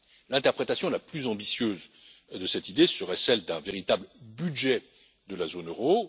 L'interprétation la plus ambitieuse de cette idée serait celle d'un véritable budget de la zone euro.